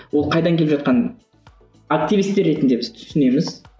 ол қайдан келіп жатқанын активистер ретінде біз түсінеміз